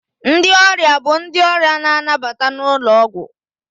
Ndị ọrịa bụ ndị ọrịa na-anabata n'ụlọ ọgwụ.